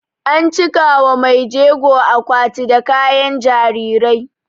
An cika wa maijego akwati da kayan jarirai